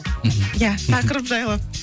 мхм иә тақырып жайлы